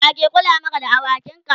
wake Kula Maka da awakin ka?